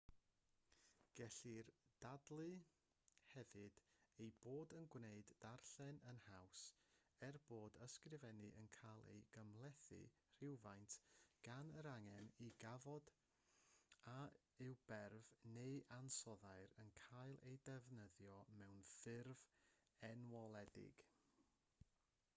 gellir dadlau hefyd ei bod yn gwneud darllen yn haws er bod ysgrifennu yn cael ei gymhlethu rywfaint gan yr angen i ganfod a yw berf neu ansoddair yn cael ei ddefnyddio mewn ffurf enwoledig